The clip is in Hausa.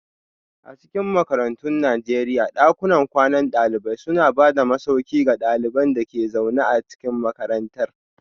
A cikin makarantun Najeriya, dakunan kwanan dalibai suna ba da masauki ga ɗaliban da ke zaune a cikin makarantar.